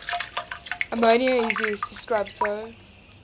ammonia is used to scrub so